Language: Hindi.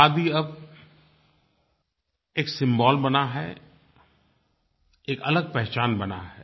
खादी अब एक सिम्बोल बना है एक अलग पहचान बना है